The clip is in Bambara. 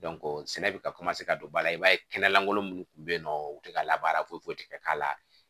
sɛnɛ bɛ ka ka don baara la i b'a ye kɛnɛlankolon minnu tun bɛ yen nɔ u tɛ ka labaara foyi foyi tɛ k'a la